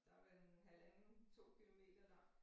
Der er vel en halvanden 2 kilometer lang